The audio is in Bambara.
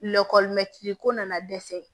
ko nana dɛsɛ